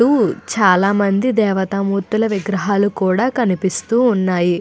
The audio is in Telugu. ముందు చాలా మంది దేవతామూర్తుల విగ్రహాలు కూడా కనిపిస్తూ ఉన్నాయి.